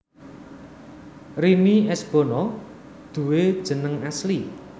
Rini S Bono duwé jeneng asli